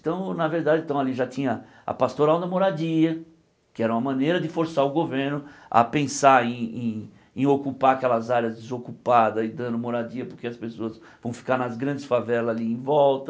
Então, na verdade, então ali já tinha a pastoral da moradia, que era uma maneira de forçar o governo a pensar em em em ocupar aquelas áreas desocupadas e dando moradia, porque as pessoas vão ficar nas grandes favelas ali em volta.